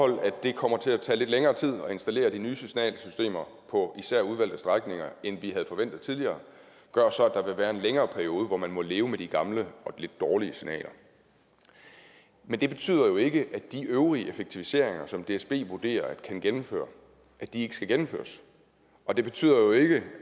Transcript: at det kommer til at tage lidt længere tid at installere de nye signalsystemer på især udvalgte strækninger end vi havde forventet tidligere gør så at der vil være en længere periode hvor man må leve med de gamle og de lidt dårlige signaler men det betyder jo ikke at de øvrige effektiviseringer som dsb vurderer kan gennemføres ikke skal gennemføres og det betyder jo ikke